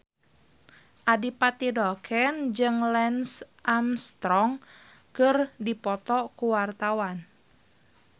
Adipati Dolken jeung Lance Armstrong keur dipoto ku wartawan